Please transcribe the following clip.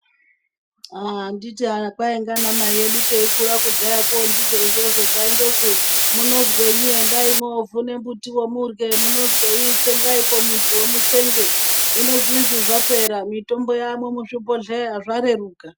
Anditi kwai ngana mai edu teikura kudhayako ndizvo izvozvo taindozwi munozwei endai mwovhune mbutiwo murye munozwei tsengaipo mudziwo mutsenge hino zvinozvi zvapera mitombo wamwo muzvibhohleya zvareruka.